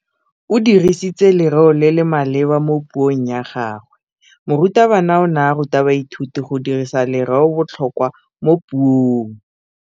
O dirisitse lerêo le le maleba mo puông ya gagwe. Morutabana o ne a ruta baithuti go dirisa lêrêôbotlhôkwa mo puong.